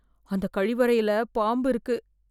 அந்த கழிவறையில் பாம்பு இருக்கு